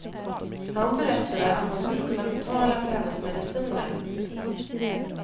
Han berättade att han skulle kunna betala för hennes mediciner.